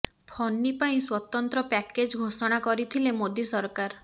ଫନି ପାଇଁ ସ୍ୱତନ୍ତ୍ର ପ୍ୟାକେଜ୍ ଘୋଷଣା କରିଥିଲେ ମୋଦୀ ସରକାର